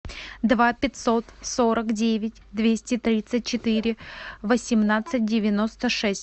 два пятьсот сорок девять двести тридцать четыре восемнадцать девяносто шесть